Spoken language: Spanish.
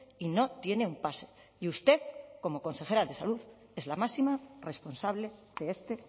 y no tiene un pase y usted como consejera de salud es la máxima responsable de este